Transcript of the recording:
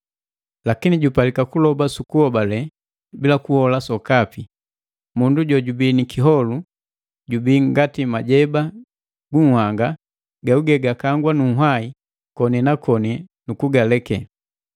Lakini jupalika kuloba su kuhobale bila kuhola sokapi. Mundu jojubii ni kiholu jubii ngati majeba gu nhanga gagugee gakangwa nu nhwai koni na koni nu kugaleke.